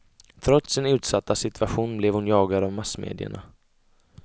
Trots sin utsatta situation blev hon jagad av massmedierna.